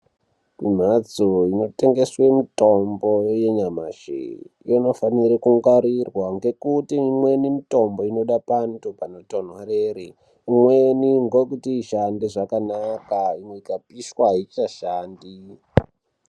Kumhatso inotengese mitombo yenyamashi inofanire kungwarirwa ngekuti imweni mitombo inode pantu panotonhorera imweni ndokuti ishande zvakanaka ikapishwa haichashandi.